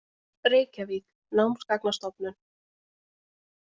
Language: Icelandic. Reykjavík: Námsgagnastofnun.